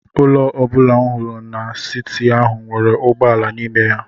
Ụlọ ọ bụla m hụrụ n'siti ahụ nwere ụgbọ ala n’ime ya.